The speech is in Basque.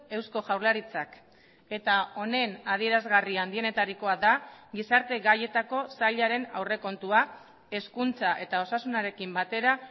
eusko jaurlaritzak eta honen adierazgarri handienetarikoa da gizarte gaietako sailaren aurrekontua hezkuntza eta osasunarekin batera